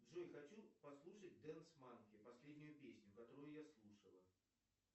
джой хочу послушать дэнс манки последнюю песню которую я слушала